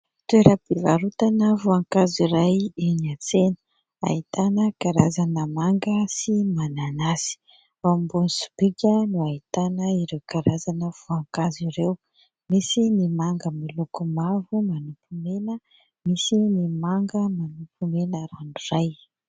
Toeram-pivarotana voankazo iray eny an-tsena, ahitana karazana manga sy mananasy ; ao ambony sobika no ahitana ireo karazana voankazo ireo. Misy ny manga miloko mavo manopy mena, misy ny manga manopy mena ranoray.